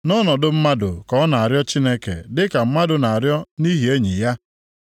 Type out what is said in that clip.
Nʼọnọdụ mmadụ ka ọ na-arịọ Chineke dịka mmadụ na-arịọ nʼihi enyi ya.